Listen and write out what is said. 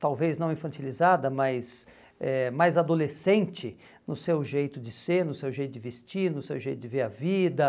talvez não infantilizada, mas eh mais adolescente no seu jeito de ser, no seu jeito de vestir, no seu jeito de ver a vida.